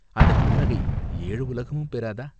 அந்தப் புன்னகை ஏழு உலகமும் பெறாதா?